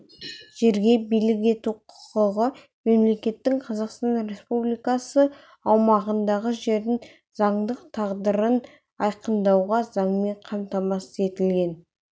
жерге билік ету құқығы мемлекеттің қазақстан республикасы аумағындағы жердің заңдық тағдырын айқындаудағы заңмен қамтамасыз етілген